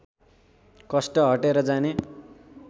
कष्ट हटेर जाने